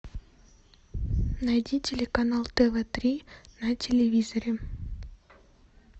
найди телеканал тв три на телевизоре